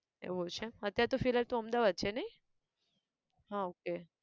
એવું છે અત્યાર તો ફિલહાલ તો તું અમદાવાદ માં છે નઈ? હા okay